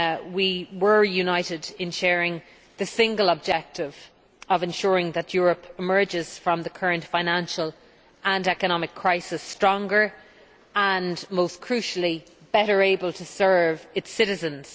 We were united in sharing the single objective of ensuring that Europe emerges from the current financial and economic crisis stronger and, most crucially, better able to serve its citizens.